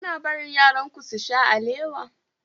Kuna barin yaranku su sha alewa?